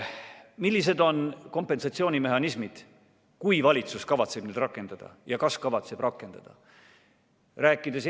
Millised on kompensatsioonimehhanismid, kui valitsus kavatseb neid rakendada, ja kas ta üldse kavatseb neid rakendada?